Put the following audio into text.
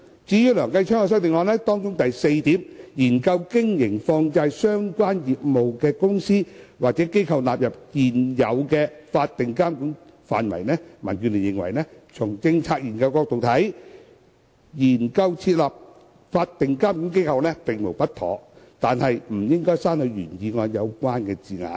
至於梁繼昌議員的修正案，當中第四點建議"研究將經營與放債相關業務的公司或機構納入現有法定機構的監管範圍"，民建聯認為，從政策研究角度來看，研究設立法定監管機構並無不妥，故不應刪去原議案的相關字眼。